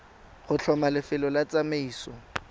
go tlhoma lefelo la tsamaiso